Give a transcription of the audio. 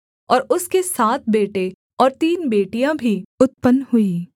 और उसके सात बेटे और तीन बेटियाँ भी उत्पन्न हुई